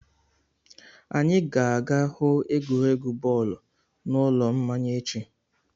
Anyị ga-aga hụ egwuregwu bọọlụ n'ụlọ mmanya echi.